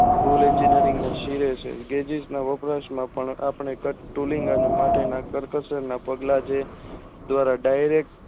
પુલ Engineering ના શિવે છે ગેજ઼િશના વપરાશ માપવાના આપણે ટુલિન્ગ અને માટેના કર્કશોના પગલાં જે ધ્વારા Direct